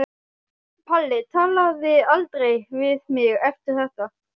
Palli talaði aldrei við mig eftir þetta.